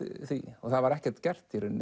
því og það var ekkert gert í rauninni